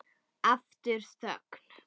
Aftur þögn.